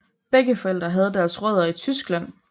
Begge forældre havde deres rødder i Tyskland